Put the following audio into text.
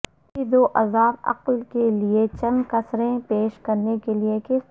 اسی ذواضعاف اقل کے لئے چند کسریں پیش کرنے کے لئے کس طرح